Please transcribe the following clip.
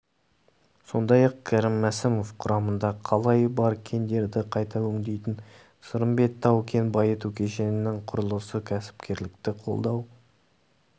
сондай-ақ кәрім мәсімов құрамында қалайы бар кендерді қайта өңдейтін сырымбет тау-кен байыту кешенінің құрылысы кәсіпкерлікті қолдау